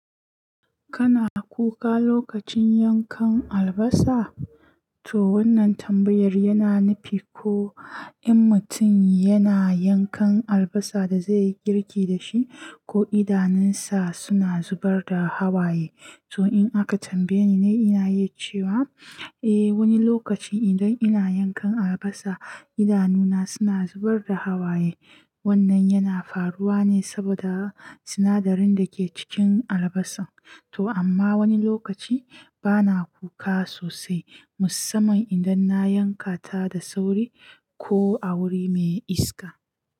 Kana kuka lokacin yankan albasa? To wannan tambayar yana nufi ko in mutum yana yankan albasa da zai yi girki da shi ko idanunsa suna zubar da hawaye. To in aka tambaye ni ne ina iya cewa, eh wani lokaci idan ina yankan albasa idanuna suna zubar da hawaye. Wannan yana faruwa ne saboda sinadarin da ke cikin albasa. To amma wani lokaci bana kuka sosai musamman idan na yanka ta da sauri ko a wuri mai iska.